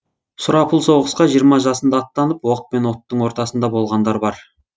сұрапыл соғысқа жиырма жасында аттанып оқ пен оттың ортасында болғандар бар